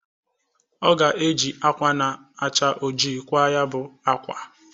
Ọ ga-eji akwa na-acha ojii kwaa nya bụ akwa.